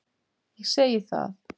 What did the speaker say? Ég segi það.